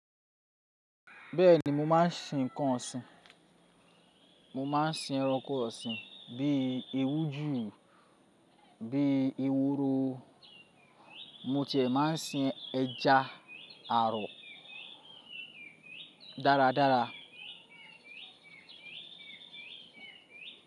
Bẹ́ẹ̀ni mo máa ń sìn ǹkan ọ̀sìn. Mo máa ń sìn ẹranko ọ̀sìn bí i ewújù, bí i ehoro, mo ti ẹ̀ máa ń sìn ẹja àrò dáradára.